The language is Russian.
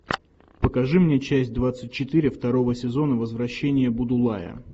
покажи мне часть двадцать четыре второго сезона возвращение будулая